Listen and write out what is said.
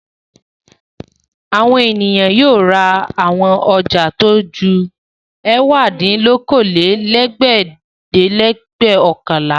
Àwọn ènìyàn yóò ra àwọn ọjà tó ju ẹ̀wádínlókòólẹ́ẹ̀dẹ́gbẹ́ọ̀kànlá.